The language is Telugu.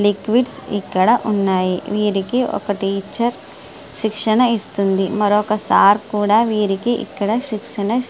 లిక్విడ్స్ ఇక్కడ ఉన్నాయి. వీరికి ఒక టీచరు శిక్షణ ఇస్తుంది. మరొక సార్ కూడా వీరికి శిక్షణ ఇస్తున్నారు.